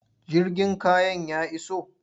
Jirgin kayan ya iso?